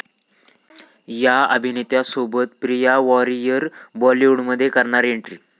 या' अभिनेत्यासोबत प्रिया वारियर बॉलिवूडमध्ये करणार एन्ट्री!